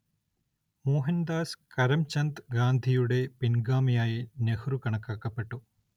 മോഹൻദാസ് കരംചന്ദ് ഗാന്ധിയുടെ പിൻഗാമിയായി നെഹ്രു കണക്കാക്കപ്പെട്ടു.